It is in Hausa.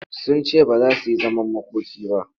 Sun ce ba za su yi zaman makoki ba.